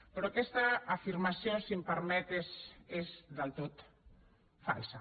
però aquesta afirmació si m’ho permet és del tot falsa